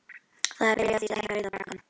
Það er byrjað á því að stækka Rauða braggann.